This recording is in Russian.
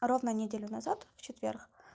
ровно неделю назад в четверг